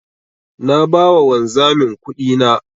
Na ba wa wanzamin kudina.